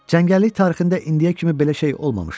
Cəngəllik tarixində indiyə kimi belə şey olmamışdı.